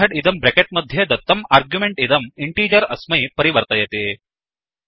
method इदं bracket मध्ये दत्तम् आर्ग्युमेण्ट् इदं इन्टिगर अस्मै परिवर्तयति